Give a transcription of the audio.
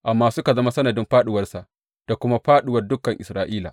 Amma suka zama sanadin fāɗuwarsa da kuma fāɗuwar dukan Isra’ila.